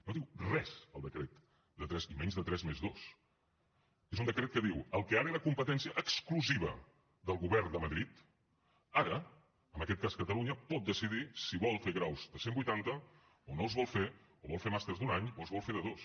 no diu res el decret de tres i menys de tres+dos és un decret que diu en el que ara era competència exclusiva del govern de madrid ara en aquest cas catalunya pot decidir si vol fer graus de cent vuitanta o no els vol fer o vol fer màsters d’un any o els vol fer de dos